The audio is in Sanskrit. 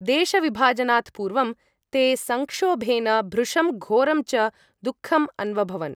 देशविभाजनात् पूर्वं ते संक्षोभेन भृशं घोरं च दुःखम् अन्वभवन्।